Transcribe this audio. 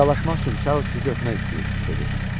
Vidalaşmaq üçün Charles sizi öpmək istəyir, dedi.